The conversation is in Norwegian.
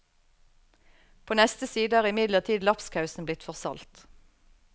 På neste side er imidlertid lapskausen blitt for salt.